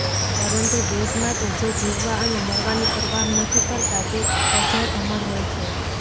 પરંતુ દેશ માટે જે જીવવા અને મરવાની પરવાહ નથી કરતા તે અજર અમર હોય છે